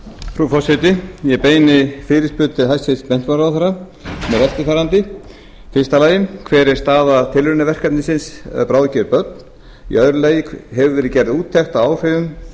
frú forseti ég beini fyrirspurn til hæstvirts menntamálaráðherra sem er eftirfarandi fyrsta hver er staða tilraunaverkefnisins bráðger börn annars hefur verið gerð úttekt að áhrifum